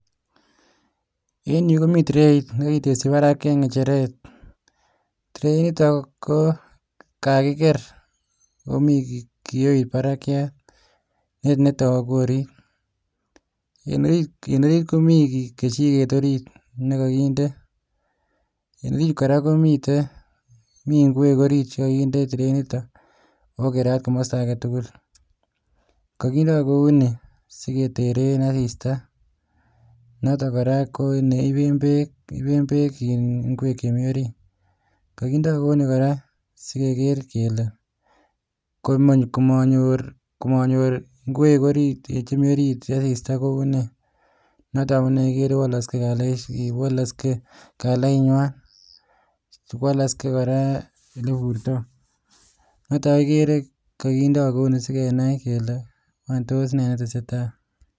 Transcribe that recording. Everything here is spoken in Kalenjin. Eng yu komii trait netaku orit Eng orit Komi kejiket netaku nekakitende mi ngwek kora chekakindet